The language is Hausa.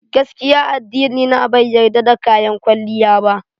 Gaskiya addinina bai yarda da kayan kwalliya ba.